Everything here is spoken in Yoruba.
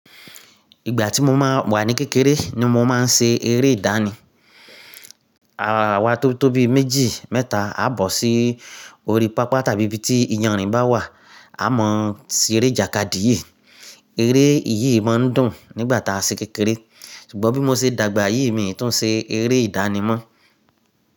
Ìgbà tí mo máa wà ní kékeré ni mo máa ń ṣe eré ìdánì. Àwa tóbí tóbi méjì mẹ́ta á bọ̀ sí orí pápá tàbí ibi tí iyanrìn bá wà, a mọ̀ sí eré jàkadìyi. Eré yìí máa ń dùn nígbà tá a ṣe kékeré. Ṣùgbọ́n bí mo ṣe dàgbà yìí, mi ò tún ṣe eré idani mọ.